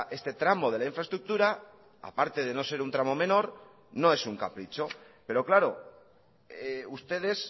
este tramo de la infraestructura a parte de no ser un tramo menor no es un capricho pero claro ustedes